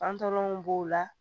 Fan tɔlɔw b'o la